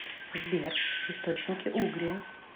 сбер источники угрия